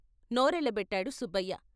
No రెళ్ళబెట్టాడు సుబ్బయ్య.